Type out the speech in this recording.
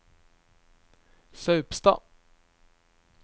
Saupstad